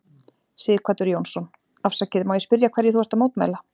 Sighvatur Jónsson: Afsakið, má ég spyrja hverju þú ert að mótmæla?